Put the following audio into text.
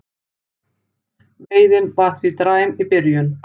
Veiðin var því dræm í byrjun